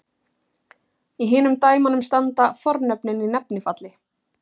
Í hinum dæmunum standa fornöfnin í nefnifalli.